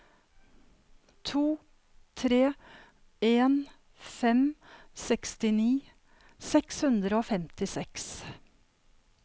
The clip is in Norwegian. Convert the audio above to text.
to tre en fem sekstini seks hundre og femtiseks